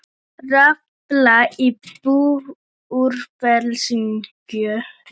Rafall í Búrfellsvirkjun.